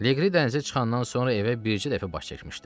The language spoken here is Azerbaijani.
Leqri dənizə çıxandan sonra evə bircə dəfə baş çəkmişdi.